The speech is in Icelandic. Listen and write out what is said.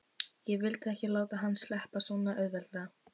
Ég vildi ekki láta hann sleppa svona auðveldlega.